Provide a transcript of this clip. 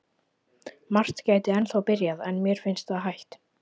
Margt gæti ennþá byrjað, en mér finnst það hætt.